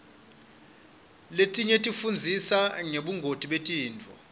letinye tifundzisa ngebungoti betifo